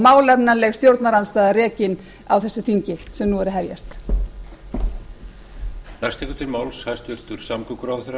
málefnaleg stjórnarandstaða rekin á þessu þingi sem nú er að hefjast koma klárast í fyrri spólu